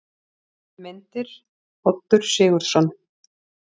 Myndir: Oddur Sigurðsson.